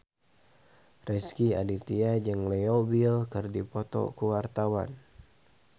Rezky Aditya jeung Leo Bill keur dipoto ku wartawan